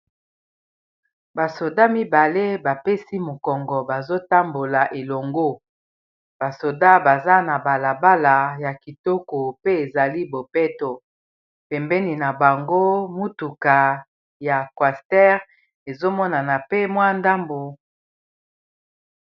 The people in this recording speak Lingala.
Ba soda mibale bapesi mokongo bazotambola elongo basoda baza na balabala ya kitoko pe ezali bopeto pembeni na bango mutuka ya coaster ezomonana pe mwa ndambo.